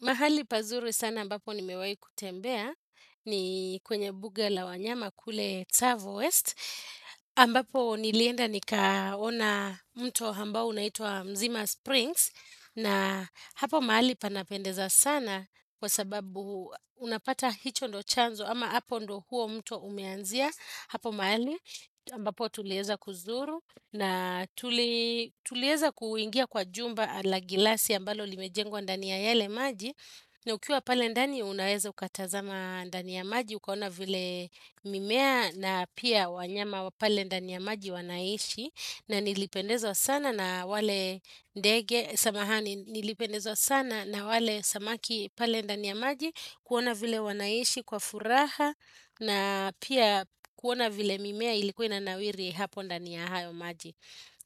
Mahali pazuri sana ambapo nimewai kutembea ni kwenye buga la wanyama kule Tzavowest. Ambapo nilienda nikaona mto ambao unaitwa mzima Springs na hapo mahali panapendeza sana kwa sababu unapata hicho ndo chanzo ama hapo ndo huo mto umeanzia. Hapo mahali ambapo tulieza kuzuru na tulieza kuingia kwa jumba la glasi ambalo limejengwa ndani ya yele maji na ukiwa pale ndani unaeza ukatazama ndani ya maji ukaona vile mimea na pia wanyama wa pale ndani ya maji wanaishi na nilipendezwa sana na wale ndege samahani nilipendezwa sana na wale samaki pale ndani ya maji kuona vile wanaishi kwa furaha na pia kuona vile mimea ilikuwa ina nawiri hapo ndani ya hayo maji.